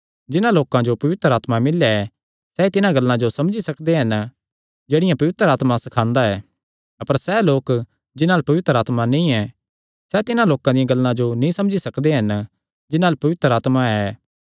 जिन्हां लोकां जो पवित्र आत्मा मिल्लेया ऐ सैई तिन्हां गल्लां जो समझी सकदे हन जेह्ड़ियां पवित्र आत्मा सखांदा ऐ अपर सैह़ लोक जिन्हां अल्ल पवित्र आत्मा नीं ऐ सैह़ तिन्हां लोकां दियां गल्लां जो नीं समझी सकदे जिन्हां अल्ल पवित्र आत्मा ऐ